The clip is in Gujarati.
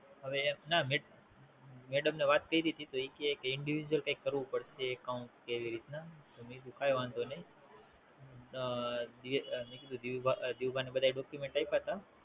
હવે એમ ના, મેડમ ને વાત કરીતી તો એ કી કે Individual કૈક કરવું પડશે Account કે એવી રીત ના. તો મેં કીધું કઈ વાંધો નાઈ. મેં કીધું ધીરૂભા ને બધા Document આપ્યા તા.